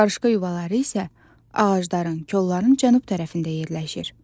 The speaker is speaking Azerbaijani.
Qarışqa yuvaları isə ağacların, kolların cənub tərəfində yerləşir.